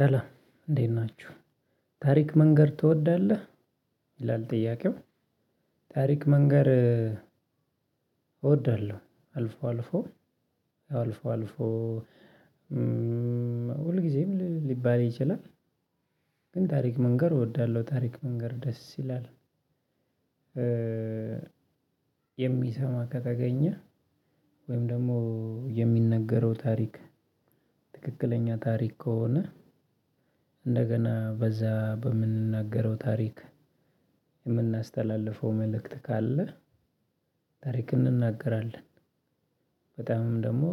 ሰላም እንዴት ናችሁ? ታሪክ መንገር ትወዳለህ? ይላል ጥያቄው ታሪክ መንገር እወዳለሁ። አልፎ አልፎ አልፎ አልፎ አልፎ። ሁል ጊዜም ሊባል ይችላል። ግን ታሪክ መንገር እወዳለሁ ታሪክ መንገር ደስ ይላል። የሚሰማ ከተገኘ ወይም ደግሞ የሚነገረው ታሪክ ትክክለኛ ታሪክ ከሆነ እንደገና በዛ በምንናገረው ታሪክ የምናስተላልፈው መልእክት ካለ ታሪክ እንናገራለን። በጣምም ደግሞ